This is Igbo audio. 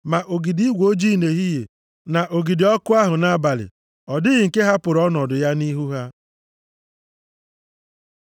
Ma ogidi igwe ojii nʼehihie na ogidi ọkụ ahụ nʼabalị, ọ dịghị nke hapụrụ ọnọdụ ya nʼihu ha.